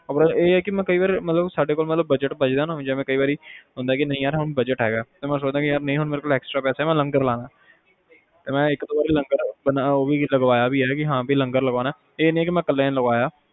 ਮਤਲਬ ਇਹ ਆ ਕਿ ਸਾਡੇ ਕੋਲ ਜਦੋ budget ਬਚਦਾ ਨਾ ਹੋਵੇ ਕਈ ਵਾਰੀ ਐ ਕੇ ਮੇਰੇ ਕੋਲ budget ਹੈਗਾ extra ਪੈਸੇ ਹੈਗੇ ਆ ਤਾ ਲੰਗਰ ਲਾਣਾ ਮੈਂ ਇਕ ਦੋ ਵਾਰੀ ਲੰਗਰ ਲਗਵਾਇਆ ਹੈਂ, ਹਾਂ ਵੀ ਲੰਗਰ ਲਾਣਾ ਹੈਂ ਇਹ ਨੀ ਕਿ ਮੈਂ ਕੱਲੇ ਨੇ ਲਗਾਇਆ